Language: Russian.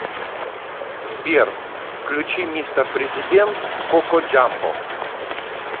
сбер включи мистер президент коко джамбо